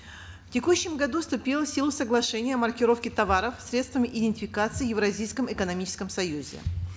в текущем году вступило в силу соглашение о маркировке товаров средствами идентификации в евразийском экономическом союзе